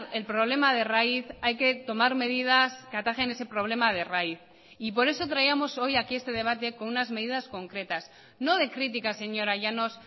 el problema de raíz hay que tomar medidas que atajen ese problema de raíz y por eso traíamos hoy aquí este debate con unas medidas concretas no de críticas señora llanos